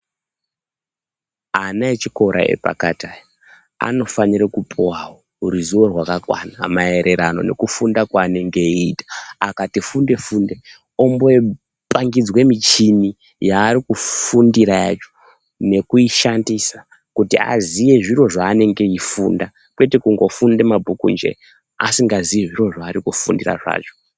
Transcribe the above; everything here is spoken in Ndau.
Ana echikora epakati aya anofanire kupuwawo ruziwo rwakakwana maererano nekufunda kwanenge eiita akati funde funde ombopangidzwe michini yarikufundira yacho nekuishandisa kuti aziye zviro zvanenge eifunda kwete kungofunda mabhuku nje asikazi zviro zvari kufundira zvacho.